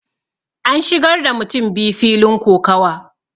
an shigar da mutum biyu filin kokawa